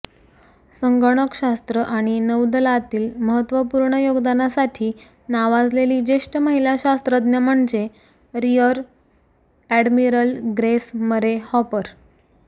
संगणकशास्त्र आणि नौदलातील महत्त्वपूर्ण योगदानासाठी नावाजलेली ज्येष्ठ महिला शास्त्रज्ञ म्हणजे rear admiral Grace Murray hopper